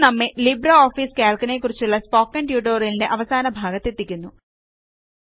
ഇത് നമ്മെ LibreOfficeCalcനെക്കുറിച്ചുള്ള കുറിച്ചുള്ള സ്പോക്കണ് ട്യൂട്ടോറിയലിന്റെ അവസാന ഭാഗത്തെത്തിക്കുന്നു